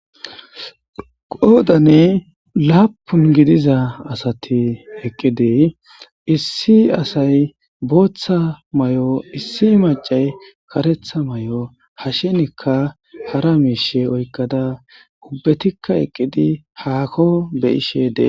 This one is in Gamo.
qoodane laapun gidiza asati eqqidie issi asay booththa may7o issi macay karetha may7o hashenikka hara miishe oykkada ubbetikka eqqidi haakko be ishe dee